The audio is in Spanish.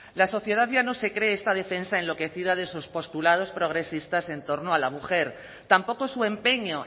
la sociedad ya no se cree esta defensa en lo que decida de sus postulados progresistas en torno a la mujer tampoco su empeño